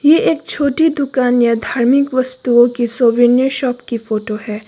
ये एक छोटी दुकान या धार्मिक वस्तुओं की शॉप की फोटो है।